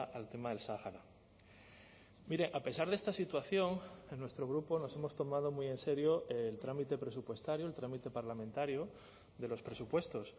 al tema del sáhara mire a pesar de esta situación en nuestro grupo nos hemos tomado muy en serio el trámite presupuestario el trámite parlamentario de los presupuestos